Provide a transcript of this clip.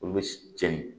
Olu bɛ cɛnin